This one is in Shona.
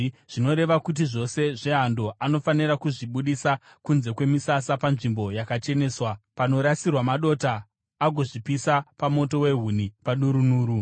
zvinoreva kuti zvose zvehando, anofanira kuzvibudisa kunze kwemisasa panzvimbo yakacheneswa, panorasirwa madota agozvipisa pamoto wehuni padurunhuru.